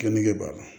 Geni kɛ b'a la